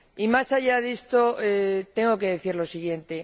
Y más allá de esto, tengo que decir lo siguiente.